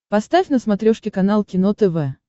поставь на смотрешке канал кино тв